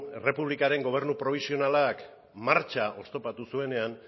errepublikaren gobernu probisionalak martxa oztopatu zuenean